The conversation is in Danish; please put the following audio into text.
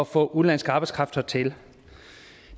få udenlandsk arbejdskraft hertil